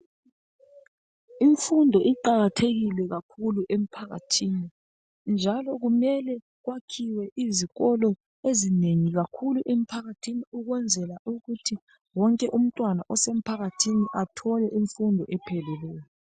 Imfundo iqakathekile kakhulu emphakathini, njalo kumele kwakhiwe izikolo ezinengi kakhulu emphakathini. Ukwenzela ukuthi wonke umntwana osemphakathini athole imfundo epheleleyo.